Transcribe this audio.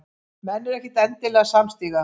Menn eru ekkert endilega samstíga